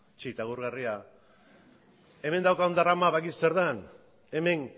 txit agurgarria hemen daukagun drama badakizu zer den hemen